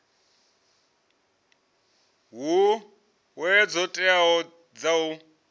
hoea dzo teaho dza u